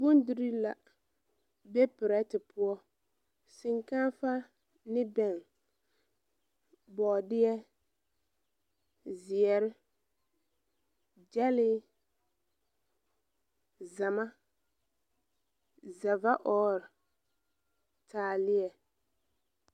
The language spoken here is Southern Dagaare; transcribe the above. bondirii la be pɛrɛte poɔ shenkaafa ne bɛŋɛ bɔɔdeɛ zeɛre, gyɛle, zama, zɛvaɔɔre taalia.